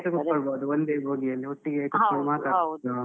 ಒಟ್ಟಿಗೆ ಕೂತ್ಕೊಳ್ಬಹುದು ಒಂದೇ ಭೋಗಿಯಲ್ಲಿ, .